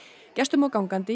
gestum og gangandi